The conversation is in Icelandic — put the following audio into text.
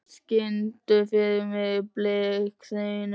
Karl, syngdu fyrir mig „Blik þinna augna“.